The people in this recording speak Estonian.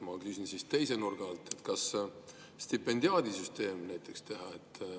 Ma küsin teise nurga alt, et kas näiteks teha stipendiaadisüsteem.